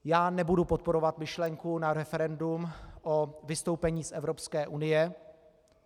Já nebudu podporovat myšlenku na referendum o vystoupení z Evropské unie.